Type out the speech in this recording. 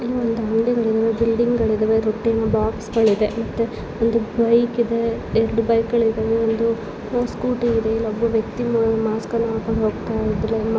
ಇಲ್ಲಿ ಅಂಗಡಿಗಳಿದ್ದಾವೆ ಬಿಲ್ಡಿಂಗ್ಗಳಿದವೆ ದುಡ್ಡಿನ ಬಾಕ್ಸ್ಗಳು ಇದೆ ಮತ್ತೆ ಒಂದು ಬೈಕ್ ಇದೆ ಎರಡು ಬೈಕ್ ಗಳಿದ್ದವೆ ಒಂದು ಸ್ಕೂಟಿ ಇದೆ ಒಬ್ಬ ವ್ಯಕ್ತಿ ಮಾಸ್ಕಗಳನ್ನು ಹಾಕೊಂಡು ಹೋಗ್ತಾ ಇದ್ದಾನೆ.